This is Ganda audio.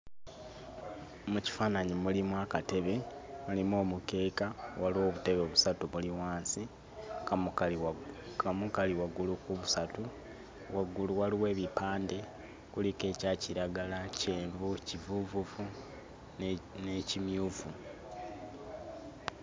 Mu kifaananyi mulimu akatebe, mulimu omukeeka, waliwo obutebe busatu buli wansi akamu kali waggulu ku busatu waggulu waliwo ebipande kuliko ekya kiragala, kyenvu, kivuuvuvu ne n'ekimyufu.